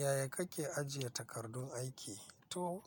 Yaya kake ajiye takardun aiki? To,